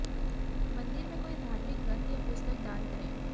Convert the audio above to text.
मंदिर में कोई धार्मिक ग्रंथ या पुस्तक दान करें